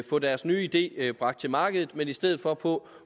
få deres nye idé idé bragt til markedet men i stedet for på